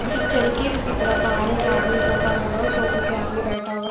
जो चल के उसी तरफ आ रहे एक आदमी सोफा लगा हुआ है सोफे पे आदमी बैठा हुआ--